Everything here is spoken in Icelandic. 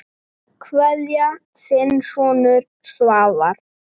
Kveðja, þinn sonur Svavar.